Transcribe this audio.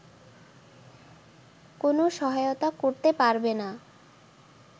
কোনো সহায়তা করতে পারবেনা